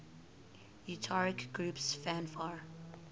utari groups fanfare